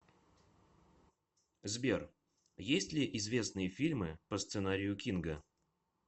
сбер есть ли известные фильмы по сценарию кинга